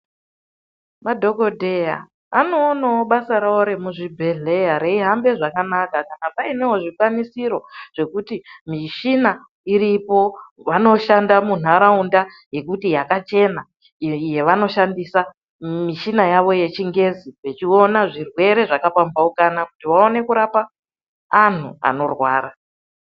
Madhokodheya anoona basa rawo remuzvibhehleya reihamba zvakanaka kana painewo zvikwanisiro zvekuti mishina iripo vanoshanda munharaunda yekuti yakachena yevanoshandisa mishina yawo yechingezi vechiona zvirwere zvakapamhaumhukana kuti vaone kurapa anhu anorwara.